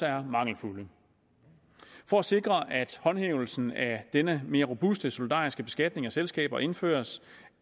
er mangelfuld for at sikre at håndhævelsen af denne mere robuste solidariske beskatning af selskaber indføres